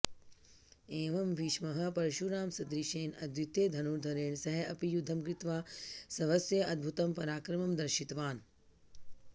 एवं भीष्मः परशुरामसदृशेन अद्वितीयधनुर्धरेण सह अपि युद्धं कृत्वा स्वस्य अद्भुतं पराक्रमं दर्शितवान्